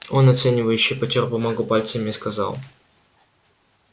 он оценивающе потёр бумагу пальцами и сказал